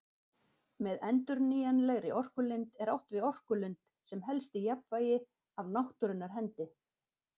Með endurnýjanlegri orkulind er átt við orkulind sem helst í jafnvægi af náttúrunnar hendi.